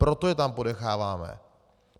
Proto je tam ponecháváme.